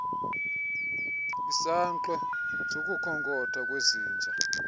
isankxwe sokukhonkotha kwezinja